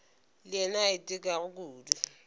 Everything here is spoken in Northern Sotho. le yena a itekago kudu